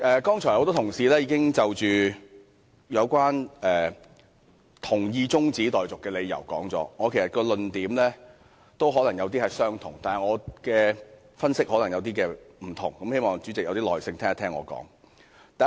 剛才很多同事已就支持中止待續議案的理由發言，其實我的論點也可能相同，但我的分析卻可能不同，希望主席有點耐性，聆聽我的發言。